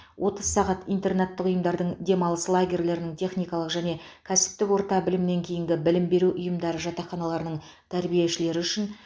отыз сағат интернаттық ұйымдардың демалыс лагерьлерінің техникалық және кәсіптік орта білімнен кейінгі білім беру ұйымдары жатақханаларының тәрбиешілері үшін